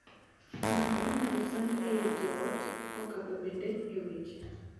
Ng’ato inyal sandi ei joot kokadho bende e weche.